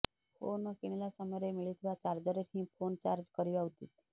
phone କିଣିଲା ସମୟରେ ମିଳିଥିବା ଚାର୍ଜରରେ ହିଁ ଫୋନ ଚାର୍ଜ କରିବା ଉଚିତ୍